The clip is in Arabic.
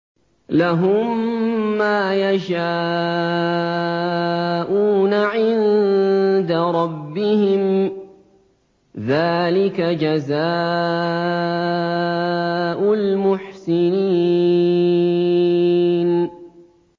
لَهُم مَّا يَشَاءُونَ عِندَ رَبِّهِمْ ۚ ذَٰلِكَ جَزَاءُ الْمُحْسِنِينَ